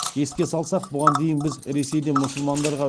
еске салсақ бұған дейін біз ресейде мұсылмандарға